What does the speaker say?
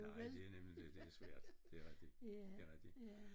Nej det jo nemlig det det er svært det er rigtigt det er rigtigt